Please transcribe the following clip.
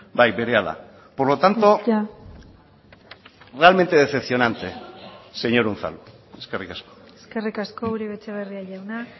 bai berehala por lo tanto realmente decepcionante señor unzalu eskerrik asko eskerrik asko uribe etxebarria jauna